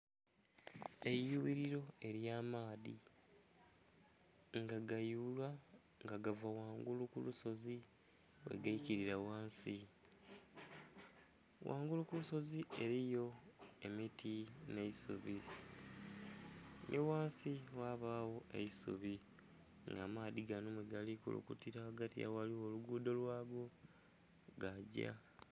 Eiyughililo ely'amaadhi. Nga gayululwa nga gava ghangulu ku lusozi, bwegaikilila ghansi. Ghangulu ku lusozi eliyo emiti nh'eisubi, nhi ghansi ghabagho eisubi nga amaadhi gano mwegali kulukutila ghagati agho ghaligho oluguudho lwago, gaagya.